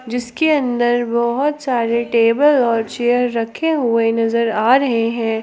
जिसके अंदर बहोत सारे टेबल और चेयर रखे हुए नजर आ रहे हैं।